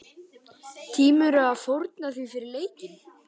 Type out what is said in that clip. Tímirðu að fórna því fyrir leikinn?